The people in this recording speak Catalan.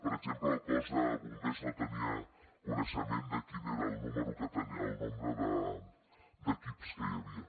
per exemple el cos de bombers no tenia coneixement de quin era el nombre d’equips que hi havia